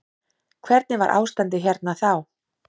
Hvernig var ástandið hérna þá.